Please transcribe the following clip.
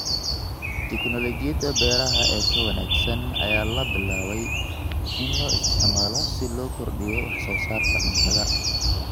Tignoolajiyada beeraha ee ka wanaagsan ayaa la bilaabay in la isticmaalo si loo kordhiyo wax soo saarka cuntada.